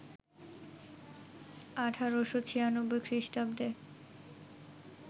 ১৮৯৬ খ্রীস্টাব্দে